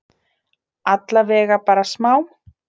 Allavega bara smá?